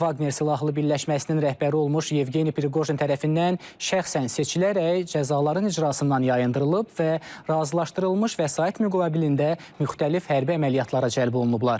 Vagner Silahlı birləşməsinin rəhbəri olmuş Yevgeni Priqojin tərəfindən şəxsən seçilərək cəzaların icrasından yayındırılıb və razılaşdırılmış vəsait müqabilində müxtəlif hərbi əməliyyatlara cəlb olunublar.